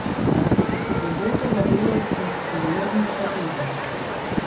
Robotova delavska superiornost pa tudi.